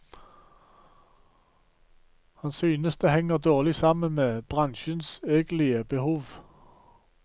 Han synes det henger dårlig sammen med bransjens egentlige behov.